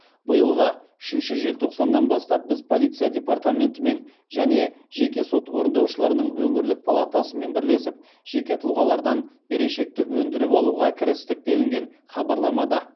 биылғы үшінші желтоқсанынан бастап біз полиция департаментімен және жеке сот орындаушыларының өңірлік палатасымен бірлесіп жеке тұлғалардан берешекті өндіріп алуға кірістік делінген хабарламада